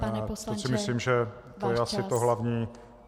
To si myslím, že to je asi to hlavní.